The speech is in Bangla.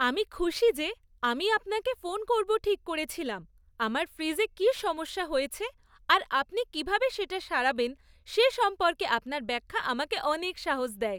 আমি খুশি যে আমি আপনাকে ফোন করব ঠিক করেছিলাম, আমার ফ্রিজে কী সমস্যা হয়েছে আর আপনি কীভাবে সেটা সারাবেন সে সম্পর্কে আপনার ব্যাখ্যা আমাকে অনেক সাহস দেয়।